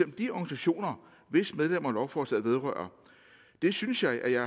de organisationer hvis medlemmer lovforslaget vedrører det synes jeg at jeg